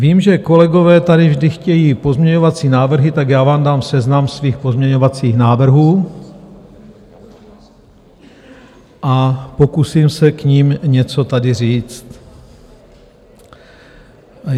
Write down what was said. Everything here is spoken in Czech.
Vím, že kolegové tady vždy chtějí pozměňovací návrhy, tak já vám dám seznam svých pozměňovacích návrhů a pokusím se k nim něco tady říct.